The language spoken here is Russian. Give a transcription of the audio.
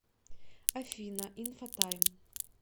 афина инфотайм